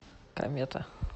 комета